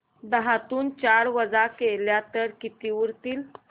दहातून चार वजा केले तर किती उरतील